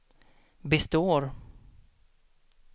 består